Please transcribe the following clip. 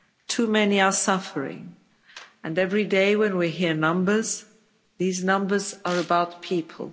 Too many are suffering and every day when we hear numbers these numbers are about people.